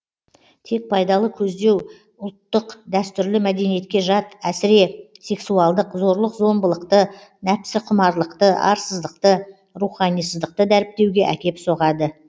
тек пайдалы көздеу ұлттық дәстүрлі мәдениетке жат әсіре сексуалдық зорлық зом былықты нәпсіқұмарлықты арсыздықты руханисыздықты дәріптеуге әкеп соғады